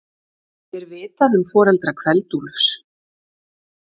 Er vitað um foreldra Kveld-Úlfs?